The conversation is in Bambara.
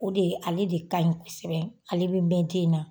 O de ye ale de kaɲi kosɛbɛ, ale be mɛn den na